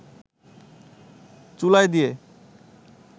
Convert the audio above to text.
চুলায় দিয়ে